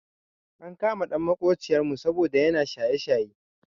Ankama ɗan maƙociyar mu saboda yana shaye shaye.